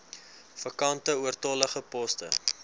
vakante oortollige poste